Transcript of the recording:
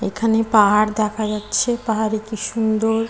এখানে পাহাড় দেখা যাচ্ছে পাহাড়টি কি সুন্দর--